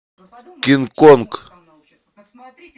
кинг конг